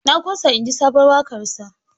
Na ƙosa inji sabon waƙarsa.